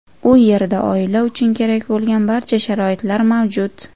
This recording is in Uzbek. U yerda oila uchun kerak bo‘lgan barcha sharoitlar mavjud.